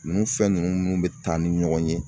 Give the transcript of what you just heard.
Ninnu fɛn ninnu minu bɛ taa ni ɲɔgɔn ye